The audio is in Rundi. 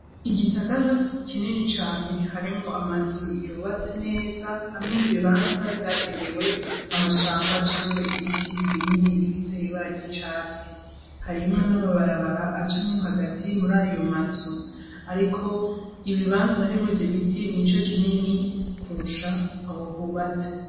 Igisagara kinini cane harimwo amazu yubatse neza hamwe n'ibibanza vyagenewe amashamba canke ibiti binini bifise ibara ry'icatsi harimwo n'amabarabara acamwo hagati mu rayo mazu ariko ibibanza harimwo ivyo biti nico kinini kurusha aho hubatse.